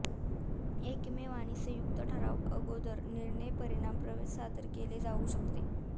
एकमेव आणि संयुक्त ठराव अगोदर निर्णय परिणाम प्रवेश सादर केले जाऊ शकते